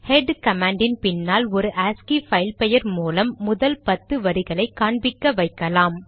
head கமாண்டின் பின்னால் ஒரு ஆஸ்கி பைல் பெயர் மூலம் முதல் பத்து வரிகளை காண்பிக்க வைக்கலாம்